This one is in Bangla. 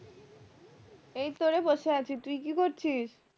এই তো রে বসে আছি তুই কি করছিস